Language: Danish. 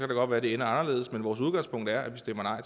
det godt være det ender anderledes men vores udgangspunkt er at vi stemmer